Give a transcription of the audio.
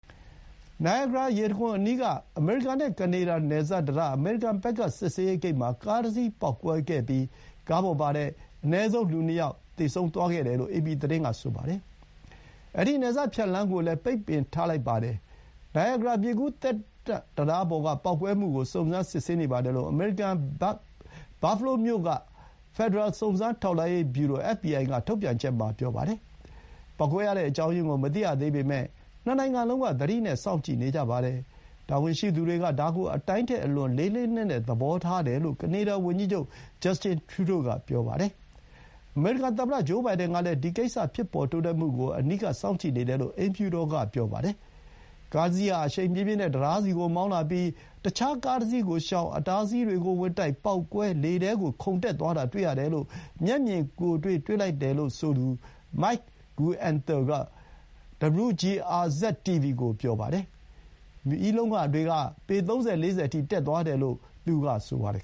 နိုင်ရာဂရာရေတံခွန်အနီးက အမေရိကန်နဲ့ကနေဒါ နယ်စပ်တံတား၊ အမေရိကန်ဘက်က စစ်ဆေးရေးဂိတ်မှာ ကားတစီးပေါက်ကွဲခဲ့ပြီး ကားပေါ်ပါ သူ အနည်းဆုံးလူနှစ်ယောက် သေဆုံးသွားခဲ့တယ်လို့ အေပီသတင်းက ဆိုပါတယ်။ အဲဒီ နယ်စပ်ဖြတ်လမ်းကိုလည်း ပိတ်ထားလိုက်ပါတယ်။ နိုင်ရာဂရာ မြစ်ကူး သက်တန့်တံတားပေါ် က ပေါက်ကွဲမှုကို စုံစမ်းစစ်ဆေးနေပါတယ်လို့ အမေရိကန်ဘက် ဘတ်ဖဲလိုးမြို့ BUFFALO ဖက်ဒရယ် စုံစမ်းထောက်လှမ်းရေး ဗျူရို FBI က ထုတ်ပြန်ချက် မှာ ပြောပါတယ်။ ပေါက်ကွဲရတဲ့အကြောင်းရင်းကို မသိရသေးပေမဲ့ ၂ နိုင်ငံလုံးက သတိနဲ့ စောင့်ကြည့်နေကြပါတယ်။ တာဝန်ရှိသူတွေက ဒါကို အတိုင်းထက်အလွန် လေးလေးနက်နက် သဘောထားတယ်လို့ ကနေဒါ ဝန်ကြီးချုပ် ဂျပ်စ်တင် ထရူးဒိုး (Justin Trudeau ) က ပြောပါတယ်။ အမေရိကန်သမ္မတ ဂျိုးဘိုင်ဒန်ကလည်း ဒီကိစ္စ ဖြစ်ပေါ်တိုးတက်မှုကို အနီးကပ်စောင့်ကြည့်နေတယ်လို့ အိမ်ဖြူတော် က ဆိုပါတယ်။ အမေရိကန်ဘက်ကနေ ကားတစီးဟာ အရှိန်ပြင်းပြင်းနဲ့ တံတားဆီကိုမောင်းလာပြီး အခြားကားတစီးကိုရှောင်၊ အတားအဆီးတွေ ကိုဝင်တိုက် ပေါက်ကွဲ၊ လေထဲကိုခုန်တက်သွားတာတွေ့ရတယ်လို့ မျက်မြင်တွေ့လိုက်တယ်လို့ဆိုသူ မိုက် ဂူအင်န်သာ (Mike Guenther) က WGRZ-TV ကို ပြောပါတယ်။ မီးလုံးက ပေ ၃၀-၄၀ အထိ တက်သွားတယ်လို့ သူက ပြောပါတယ်